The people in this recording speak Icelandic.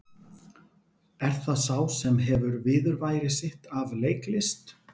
Er það sá sem hefur viðurværi sitt af leiklist?